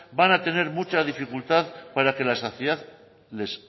van a tener mucha dificultad para que la sociedad les